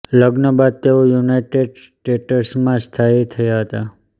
લગ્ન બાદ તેઓ યુનાઇટેડ સ્ટેટ્સમાં સ્થાયી થયા હતા